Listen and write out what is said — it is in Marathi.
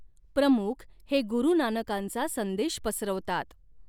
प्रमुख हे गुरू नानकांचा संदेश पसरवतात.